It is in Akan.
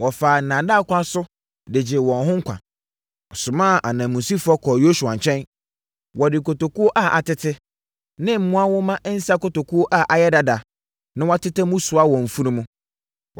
wɔfaa nnaadaa kwan so de gyee wɔn ho nkwa. Wɔsomaa ananmusifoɔ kɔɔ Yosua nkyɛn. Wɔde nkotokuo a atete ne mmoa nwoma nsã nkotokuo a ayɛ dada na wɔatetɛ mu soaa wɔn mfunumu.